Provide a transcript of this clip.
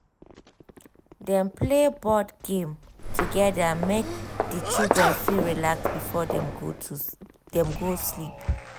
dem play board game together make the children fit relax before dem go to go sleep.